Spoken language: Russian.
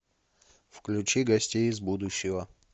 включи гостей из будущего